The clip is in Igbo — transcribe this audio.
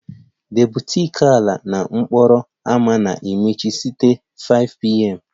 The boutique ala n'okporo ámá na-emechi site 5pm